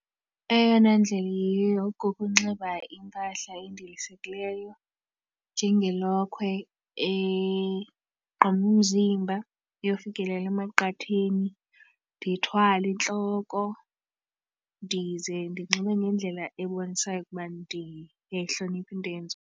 Eyona ndlela iyiyo kukunxiba impahla endilisekileyo njengelokhwe egquma umzimba iyofikelela emaqatheni ndithwale entloko ndize ndinxibe ngendlela ebonisayo ukuba ndiyayihlonipha into eyenziwayo.